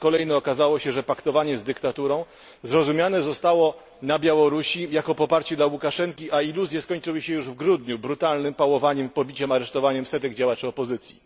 Po raz kolejny okazało się, że paktowanie z dyktaturą zrozumiane zostało na Białorusi jako poparcie dla Łukaszenki, a iluzje skończyły się już w grudniu brutalnym pałowaniem, pobiciem i aresztowaniem setek działaczy opozycji.